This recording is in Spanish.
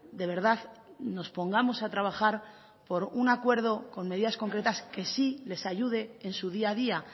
de verdad nos pongamos a trabajar por un acuerdo con medidas concretas que sí les ayude en su día a día